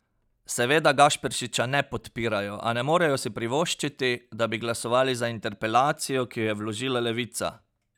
Seveda Gašperšiča ne podpirajo, a ne morejo si privoščiti, da bi glasovali za interpelacijo, ki jo je vložila levica!